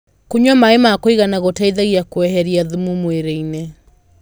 kũnyua maĩ ma kuigana gũteithagia kueherĩa thumu mwĩrĩ-ini